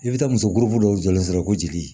I bɛ taa muso dɔw jɔlen sɔrɔ ko jeli